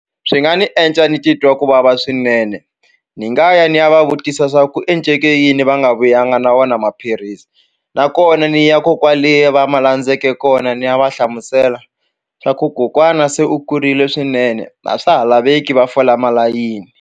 Swi nga ni endla ni titwa ku vava swinene ni nga ya ni ya va vutisa swa ku enceke yini va nga vuyanga na wona maphilisi nakona ni ya ko kwale va ma landzele kona ni ya va hlamusela swa ku kokwana se u kurile swinene a swa ha laveki va fola malayini.